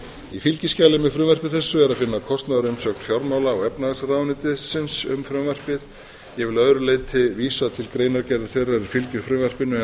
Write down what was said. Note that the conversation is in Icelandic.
í fylgiskjali með frumvarpi þessu er að finna kostnaðarumsögn fjármála og efnahagsráðuneytisins um frumvarpið ég vil að öðru leyti vísa til greinargerðar þeirrar er fylgir frumvarpinu en þar